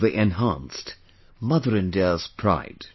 They enhanced Mother India's pride